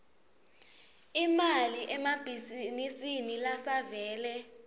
imali emabhizinisini lasavele